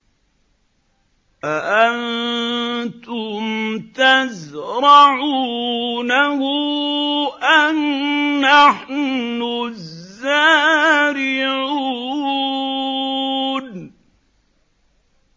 أَأَنتُمْ تَزْرَعُونَهُ أَمْ نَحْنُ الزَّارِعُونَ